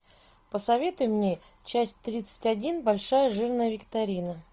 посоветуй мне часть тридцать один большая жирная викторина